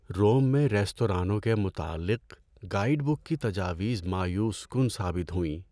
روم میں ریستورانوں کے متعلق گائیڈ بک کی تجاویز مایوس کن ثابت ہوئیں۔